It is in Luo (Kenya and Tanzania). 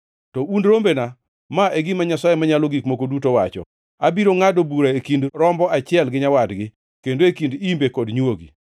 “ ‘To un rombena, ma e gima Jehova Nyasaye Manyalo Gik Moko Duto wacho: Abiro ngʼado bura e kind rombo achiel gi nyawadgi, kendo e kind imbe kod nywogi.